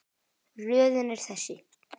Röðin er þessi